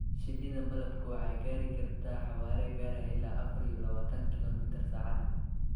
Shinnida malabka waxay gaari kartaa xawaare gaaraya ilaa afar iyo labaatan kiilo mitir saacaddii.